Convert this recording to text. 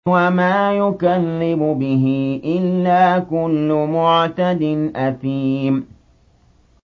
وَمَا يُكَذِّبُ بِهِ إِلَّا كُلُّ مُعْتَدٍ أَثِيمٍ